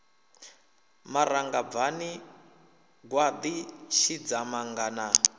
maranga bvani gwaḓi tshidzamanga na